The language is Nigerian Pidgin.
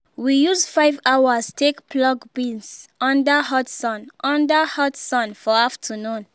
we use 5 hours take pluck beans under hot sun under hot sun for afternoon